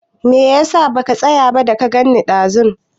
Me ya sa baka tsaya ba, da ka gan ni ɗazu?